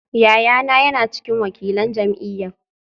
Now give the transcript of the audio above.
Yayana yana cikin wakilan jam’iyyar